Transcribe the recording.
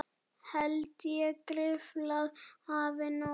Held ég gruflað hafi nóg.